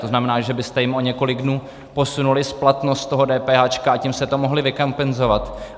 To znamená, že byste jim o několik dnů posunuli splatnost toho DPH, a tím jste to mohli vykompenzovat.